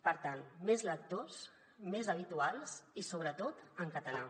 per tant més lectors més habituals i sobretot en català